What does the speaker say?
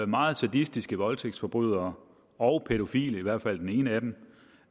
meget sadistiske voldtægtsforbrydere og pædofile i hvert fald den ene af dem